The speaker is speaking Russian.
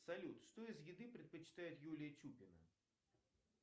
салют что из еды предпочитает юлия чупина